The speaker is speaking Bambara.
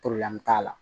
t'a la